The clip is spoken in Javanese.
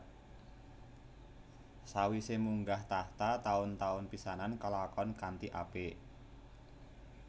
Sawise munggah tahta taun taun pisanan kalakon kanthi apik